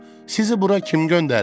Sizi bura kim göndərib?